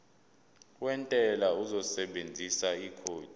wentela uzosebenzisa ikhodi